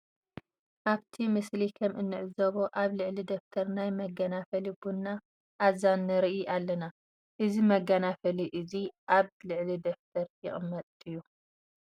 ኣብቲ ምስሊ ከም እንዕዘቦ ኣብ ልዕሊ ደፍተር ናይ መገናፈሊ ቡና ኣዛን ንርኢ ኣለና። እዚ መገናፈሊ እዚ ኣብ ልዕሊ ደፍተር ይቅመጥ ድዩ?